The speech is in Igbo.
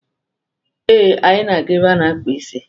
Ee, anyị na-aga ebe a na-akpa isi.